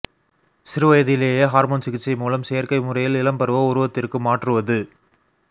சிறு வயதிலேயே ஹார்மோன் சிகிச்சை மூலம் செயற்கை முறையில் இளம்பருவ உருவத்திற்கு மாற்றுவது